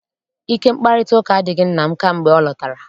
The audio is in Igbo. Ike mkparịtaụka adịghị nna m kamgbe ọ lọtara.